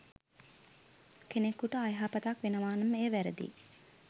කෙනෙකුට අයහපතක් වෙනවා නම් එය වැරදියි.